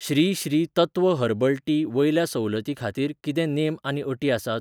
Shri Shri Tattva herbal tea वयल्या सवलतीं खातीर कितें नेम आनी अटी आसात ?